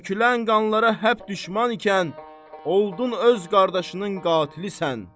Tökülən qanlara həp düşman ikən, oldun öz qardaşının qatilisən.